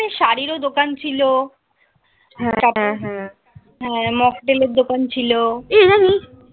শাড়িরও দোকান ছিল . হ্যাঁ. মকটেলের দোকান ছিল এই জানিস